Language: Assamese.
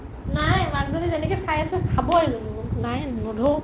নাই মানুহ জনি যেনেকে চাই আছে খাবৱে মোক নাই নধৰো